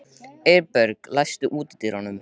Eyberg, læstu útidyrunum.